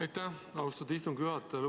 Aitäh, austatud istungi juhataja!